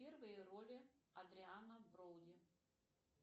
первые роли эдриана броуди